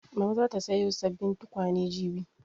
Mama za ta sayo sabbin tukwane jibi